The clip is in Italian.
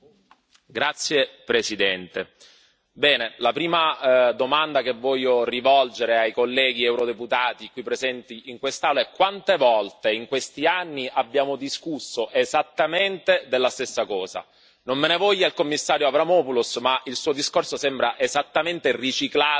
Signor Presidente, onorevoli colleghi, la prima domanda che voglio rivolgere ai colleghi eurodeputati presenti in quest'Aula è quante volte in questi anni abbiamo discusso esattamente della stessa cosa? Non me ne voglia il Commissario Avramopoulos, ma il suo discorso sembra esattamente riciclato